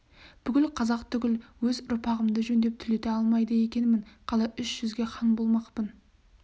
бүкіл қазақ түгіл өз ұрпағымды жөндеп түлете алмайды екенмін қалай үш жүзге хан болмақпын